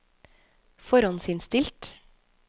forhåndsinnstilt